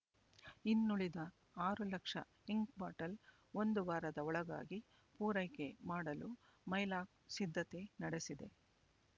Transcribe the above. ಇನ್ನುಳಿದ ಆರು ಲಕ್ಷ ಇಂಕ್ ಬಾಟಲ್ ಒಂದು ವಾರದ ಒಳಗಾಗಿ ಪೂರೈಕೆ ಮಾಡಲು ಮೈಲಾಕ್ ಸಿದ್ಧತೆ ನಡೆಸಿದೆ